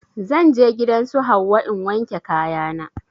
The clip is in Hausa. Zan je gidan su Hauwa in wanke kaya na